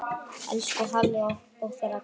Elsku Halli okkar allra.